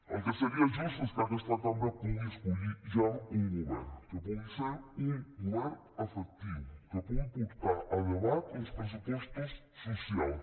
el que seria just és que aquesta cambra pugui escollir ja un govern que pugui ser un govern efectiu que pugui portar a debat uns pressupostos socials